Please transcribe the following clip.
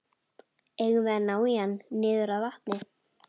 Eigum við ekki að ná í hann niður að vatni?